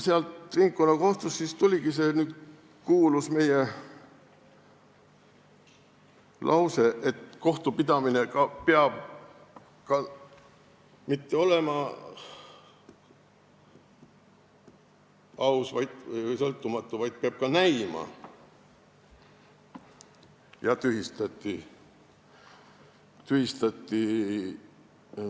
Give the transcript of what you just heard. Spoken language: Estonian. Ringkonnakohtust siis tuligi see kuulus lause, et kohtupidamine ei pea mitte ainult olema aus ja sõltumatu, vaid peab ka näima ausa ja sõltumatuna.